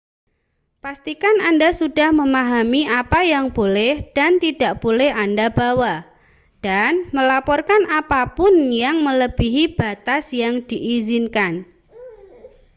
pastikan anda sudah memahami apa yang boleh dan tidak boleh anda bawa dan melaporkan apa pun yang melebihi batas yang diizinkan